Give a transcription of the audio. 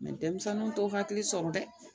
denmisɛnninw t'o hakili sɔrɔ dɛ